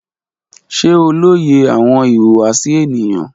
Ṣe o loye awọn ihuwasi eniyan?